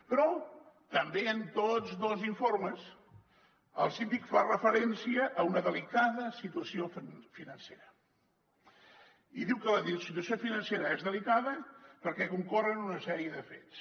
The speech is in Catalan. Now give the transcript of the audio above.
però també en tots dos informes el síndic fa referència a una delicada situació financera i diu que la situació financera és delicada perquè concorren una sèrie de fets